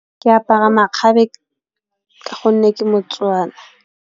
Ke apara makgabe ka gonne ke Mo-Tswana.